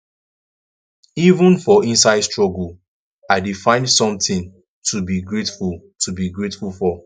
even for inside struggle i dey find something to be grateful to be grateful for